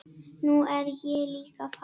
Nú er ég líka farinn.